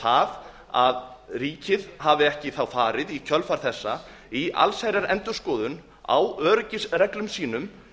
það að ríkið hafi ekki þá farið í kjölfar þess í allsherjarendurskoðun á öryggisreglum sínum